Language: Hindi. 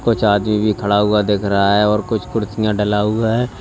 कुछ भी खड़ा हुआ दिख रहा है और कुछ कुर्सियां डला हुआ है।